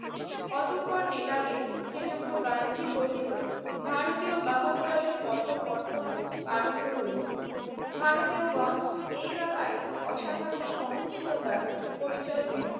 অতঃপর নেটালে শ্রীযুক্ত গান্ধীর গঠিত ভারতীয় বাহকদলের কঠোর কর্তব্য আরম্ভ হইল। ভারতীয়গণ এই ব্যাপারে অসাধারণ সহনশীলতার পরিচয় দিলেন।